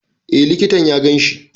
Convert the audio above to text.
E, likitan ya ganshi.